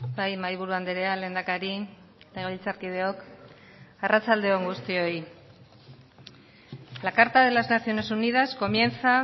bai mahaiburu andrea lehendakari legebiltzarkideok arratsalde on guztioi la carta de las naciones unidas comienza